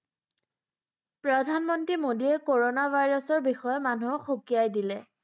প্ৰধানমন্ত্ৰী মোদীয়ে কৰণা ভাইৰাছৰ বিষয়ে মানুহক সকীয়াই দিলে।